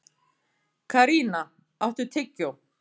Karína, áttu tyggjó?